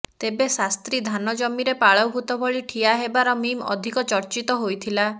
ତେବେ ଶାସ୍ତ୍ରୀ ଧାନ ଜମିରେ ପାଳଭୁତ ଭଳି ଠିଆ ହେବାର ମିମ୍ ଅଧିକ ଚର୍ଚିତ ହୋଇଥିଲା